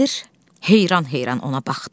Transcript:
Sədr heyran-heyran ona baxdı.